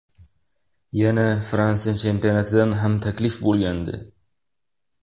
Yana Fransiya chempionatidan ham taklif bo‘lgandi.